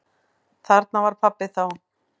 Þarna var pabbi þá.